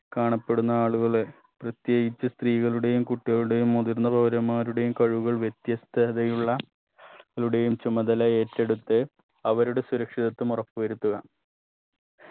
കാണപ്പെടുന്ന ആളുകളെ പ്രത്യേകിച്ച് സ്ത്രീകളുടെയും കുട്ടികളുടെയും മുതിർന്ന പൗരന്മാരുടെയും കഴിവുകൾ വ്യത്യസ്തതയുള്ള ളുടെയും ചുമതല ഏറ്റെടുത്ത് അവരുടെ സുരക്ഷിതത്വം ഉറപ്പു വരുത്തുക